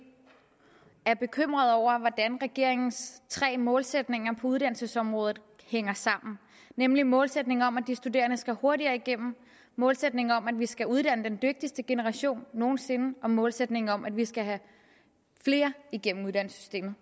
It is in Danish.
er bekymrede over hvordan regeringens tre målsætninger på uddannelsesområdet hænger sammen nemlig målsætningen om at de studerende skal hurtigere igennem målsætningen om at vi skal uddanne den dygtigste generation nogen sinde og målsætningen om at vi skal have flere igennem uddannelsessystemet